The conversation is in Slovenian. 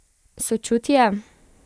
Sočutje?